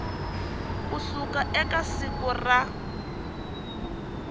ku suka eka siku ra